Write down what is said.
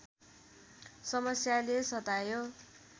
समस्याले सतायो